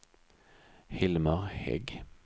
Hilmer Hägg